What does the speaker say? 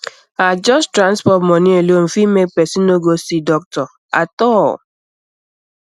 ah just transport money alone fit make person no go see doctor at all